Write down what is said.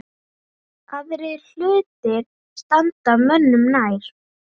Aðrir hlutir standi mönnum nær.